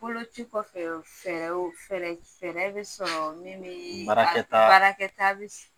Boloci kɔfɛ fɛɛrɛw fɛɛrɛ fɛɛrɛ bɛ sɔrɔ min bi baarakɛta baarakɛta bi